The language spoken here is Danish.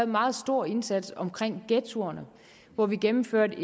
meget stor indsats omkring ghettoerne hvor vi gennemførte